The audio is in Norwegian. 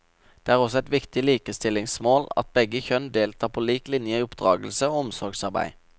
Det er også et viktig likestillingsmål at begge kjønn deltar på lik linje i oppdragelse og omsorgsarbeid.